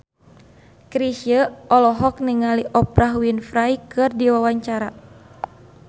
Chrisye olohok ningali Oprah Winfrey keur diwawancara